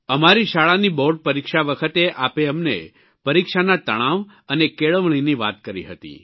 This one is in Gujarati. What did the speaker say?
અમારી શાળાની બોર્ડ પરિક્ષા વખતે આપે અમને પરીક્ષાના તણાવ અને કેળવણીની વાત કરી હતી